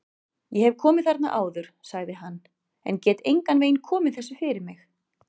Ég hef komið þarna áður sagði hann, en get engan veginn komið þessu fyrir mig